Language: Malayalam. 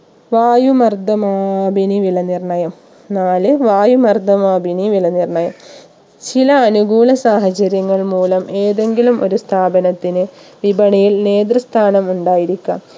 വായു മർദ്ദമാപിനി വില നിർണ്ണയം നാല് വായു മർദ്ദമാപിനി വില നിർണയം ചില അനുകൂല സാഹചര്യങ്ങൾ മൂലം ഏതെങ്കിലും ഒരു സ്ഥാപനത്തിന് വിപണിയിൽ നേതൃ സ്ഥാനം ഉണ്ടായിരിക്കാം